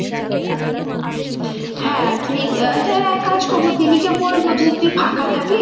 হ্যাঁ তুই আচ্ছা এক কাজ করবো দিদিকে বলব যে তুই ফাঁকা থাকিস